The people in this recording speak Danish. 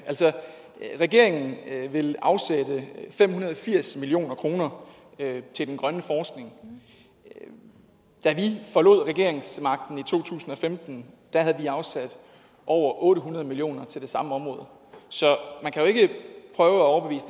regeringen vil afsætte fem hundrede og firs million kroner til den grønne forskning og da vi forlod regeringsmagten i to tusind og femten havde vi afsat over otte hundrede million kroner til det samme område så